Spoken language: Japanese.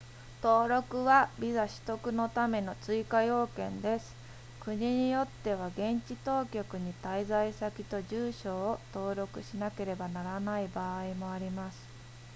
登録はビザ取得のための追加要件です国によっては現地当局に滞在先と住所を登録しなければならない場合もあります